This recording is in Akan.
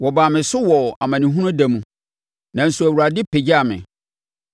Wɔbaa me so wɔ mʼamanehunu da mu, nanso Awurade pagyaa me.